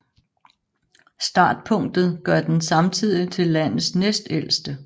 Startpunktet gør den samtidig til landets næstældste